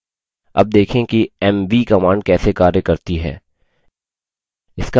अब देखें कि mv command कैसे कार्य करती है